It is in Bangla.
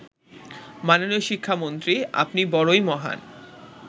মাননীয় শিক্ষামন্ত্রী আপনি বড়ই মহান